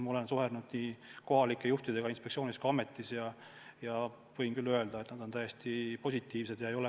Olen suhelnud kohalike juhtidega nii inspektsioonis kui ka ametis ja võin küll öelda, et nad on täiesti positiivsed.